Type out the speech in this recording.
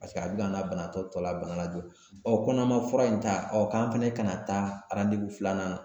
Paseke a bɛ ka an ka banabaatɔ tɔ la bana lajuguya ko n'an ma fura in ta k'an fɛnɛ kana taa filanan na .